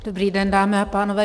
Dobrý den, dámy a pánové.